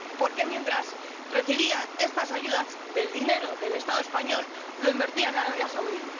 porque, mientras recibía estas ayudas con el dinero del Estado español, lo invertía en Arabia Saudí.